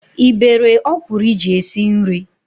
Ị bere ọkwụrụ iji esi nri?